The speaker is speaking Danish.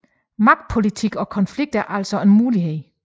Magtpolitik og konflikt er altså en mulighed